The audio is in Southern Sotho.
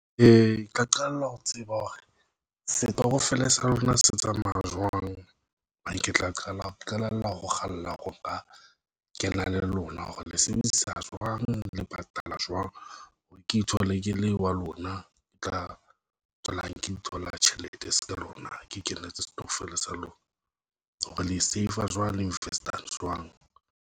Ka qalella ho tseba hore setokofele sa lona se tsamaya jwang mang, ke tla qala ho qalella ho kgalla ho ba ke na le lona, hore le sebedisa jwang le patala jwang. Ke ithola ke le wa lona e tla tswelang Ke ithola tjhelete seka lona, Ke kenetse stokvel sa lona, hore le save-a jwang le invest-a jwang.